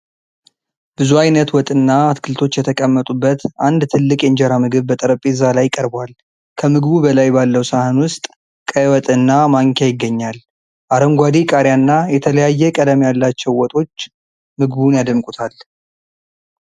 ብዙ ዓይነት ወጥና አትክልቶች የተቀመጡበት አንድ ትልቅ የእንጀራ ምግብ በጠረጴዛ ላይ ቀርቧል። ከምግቡ በላይ ባለው ሳህን ውስጥ ቀይ ወጥና ማንኪያ ይገኛል። አረንጓዴ ቃሪያና የተለያየ ቀለም ያላቸው ወጦች ምግቡን ያደምቁታል።